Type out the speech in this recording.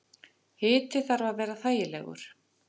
Hiti þarf að vera þægilegur.